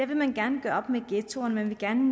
vil man gerne gøre op med ghettoerne man vil gerne